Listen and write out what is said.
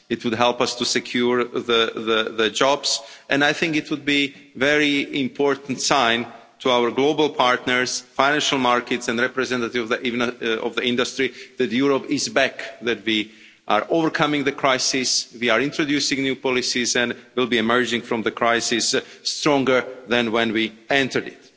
It would help us to secure jobs, and I think it would be a very important sign to our global partners, financial markets and representatives of industry that Europe is back, that we are overcoming the crisis, we are introducing new policies and will be emerging from the crisis stronger than when we entered it.